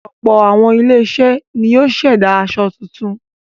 Ọ̀pọ̀ àwọn ilé-iṣẹ́ ni yóò ṣẹ̀dá aṣọ tuntun.